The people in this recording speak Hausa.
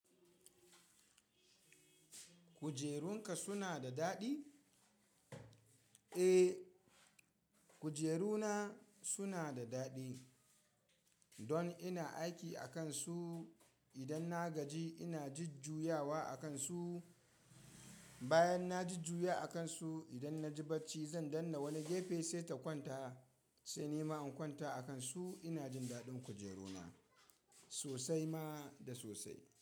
Kujerunka suna da daɗi? Eh, kujeruna suna da daɗi. Don ina aiki akan su idan na gaji ina jajjuyawa a kan su. Bayan na jujjuya a kan su, idan na ji barci zan danna wani gefe sai ta kwanta, sai nima in kwanta a kan su ina jin daɗin kujeruna sosai ma da sosai.